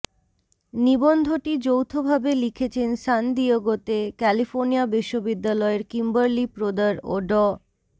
নিবন্ধটি যৌথভাবে লিখেছেন সান দিয়েগোতে ক্যালিফোর্নিয়া বিশ্ববিদ্যালয়ের কিম্বারলি প্রদার ও ড